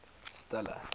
stella